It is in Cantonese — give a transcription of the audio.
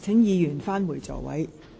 請議員返回座位。